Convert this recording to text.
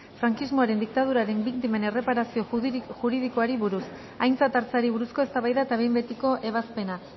frankismoaren diktaduraren biktimen erreparazio juridikoari buruz aintzat hartzeari buruzko eztabaida eta behin betiko ebazpena